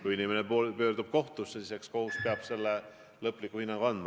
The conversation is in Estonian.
Kui inimene pöördub kohtusse, siis eks kohus peab lõpliku hinnangu andma.